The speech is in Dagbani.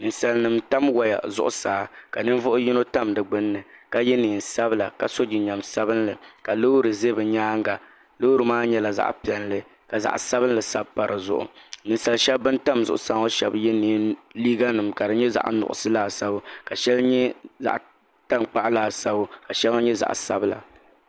Ninsalinim n tam waya zuɣu saa ka ninvuɣu yino tam di gbunni ka ye neen sabila ka so jinjam sabinli ka loori ʒɛ bɛ nyaaŋa. Loori maa nyela zaɣi pielli ka zaɣi sabinli sabbu sabi pa di zuɣu. Ninsali shebi ban tam zuɣu saa shebi ye liiganim ka di nye zaɣi nuɣiso laasabu ka sheŋa nye zaɣ takpuɣu laasabu ka sheŋa nye zaɣi sabila